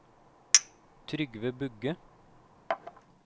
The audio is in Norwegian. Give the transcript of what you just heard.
Trygve Bugge